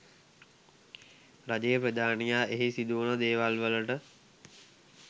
රජයේ ප්‍රධානියා එහි සිදුවන දේවල්වලට